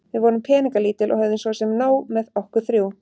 Við vorum peningalítil og höfðum svo sem nóg með okkur þrjú.